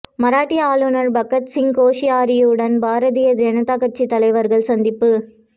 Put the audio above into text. மராட்டிய ஆளுநர் பகத்சிங் கோஷியாரியுடன் பாரதிய ஜனதா கட்சி தலைவர்கள் சந்திப்பு